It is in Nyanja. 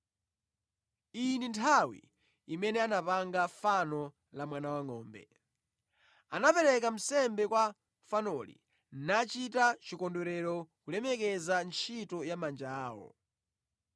Iyi ndi nthawi imene anapanga fano la mwana wangʼombe. Anapereka nsembe kwa fanoli nachita chikondwerero kulemekeza ntchito ya manja awo.